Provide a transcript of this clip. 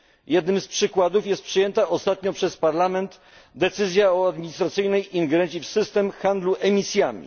Jednym z przykładów jest przyjęta ostatnio przez Parlament decyzja o administracyjnej ingerencji w system handlu emisjami.